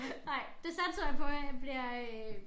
Nej det satser jeg på jeg bliver øh